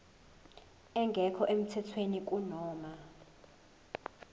engekho emthethweni kunoma